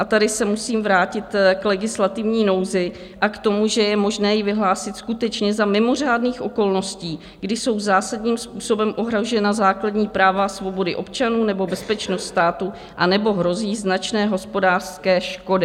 A tady se musím vrátit k legislativní nouzi a k tomu, že je možné ji vyhlásit skutečně za mimořádných okolností, kdy jsou zásadním způsobem ohrožena základní práva a svobody občanů nebo bezpečnost státu anebo hrozí značné hospodářské škody.